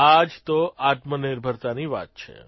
આ જ તો આત્મનિર્ભરતાની વાત છે